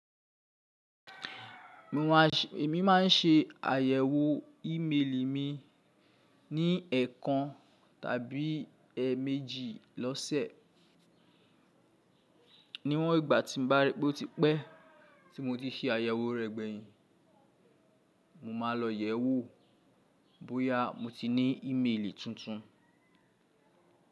Mi ma n ṣe àyẹ̀wò ímeèlì mi ní ẹẹkan tàbí ẹẹmeji lọ́sẹ̀. Níwọn ìgbà tí mo bá rí pé ó ti pẹ́ tí mo ti ṣe àyẹ̀wò rẹ̀ gbẹ̀yìn, mo máa lọ yẹ̀wò bóyá mo ti ní ìmeèlì tuntun.